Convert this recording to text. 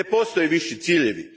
Ne postoje viši ciljevi.